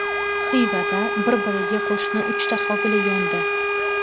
Xivada bir-biriga qo‘shni uchta hovli yondi .